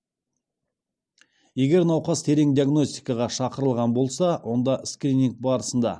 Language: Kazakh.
егер науқас терең диагностикаға шақырылған болса онда скрининг барысында